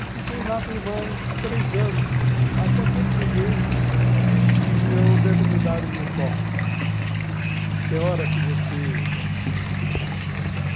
E fiquei lá por mais três anos, até perceber que eu devo mudar o meu foco. Tem hora que você